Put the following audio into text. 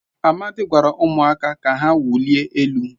Amadi gwara umuaka ka ha wulie elu